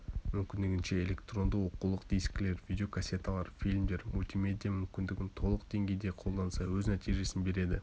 мүмкіндігінше электронды оқулық дискілер видеокассеталар фильмдер мультимедия мүмкіндігін толық деңгейде қолданса өз нәтижесін береді